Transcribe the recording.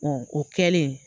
o kɛlen